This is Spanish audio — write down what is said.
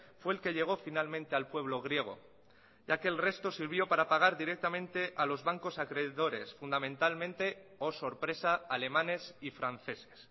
fue el que llegó finalmente al pueblo griego ya que el resto sirvió para pagar directamente a los bancos acreedores fundamentalmente oh sorpresa alemanes y franceses